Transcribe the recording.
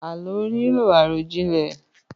Àlọ́ nílò àròjinlẹ̀